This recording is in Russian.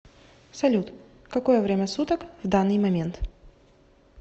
салют какое время суток в данный момент